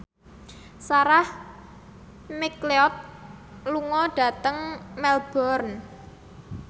Sarah McLeod lunga dhateng Melbourne